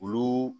Olu